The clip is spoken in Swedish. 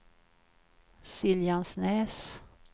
Siljansnäs